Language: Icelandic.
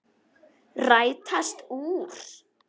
Rætast úr?